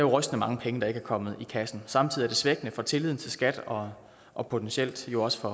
rystende mange penge der ikke er kommet i kassen samtidig er det svækkende for tilliden til skat og og potentielt jo også